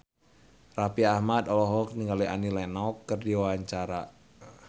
Raffi Ahmad olohok ningali Annie Lenox keur diwawancara